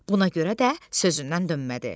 Buna görə də sözündən dönmədi.